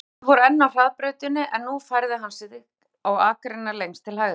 Þau voru enn á hraðbrautinni og nú færði hann sig á akreinina lengst til hægri.